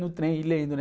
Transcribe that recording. No trem, ir lendo, né?